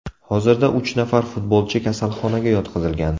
Hozirda uch nafar futbolchi kasalxonaga yotqizilgan.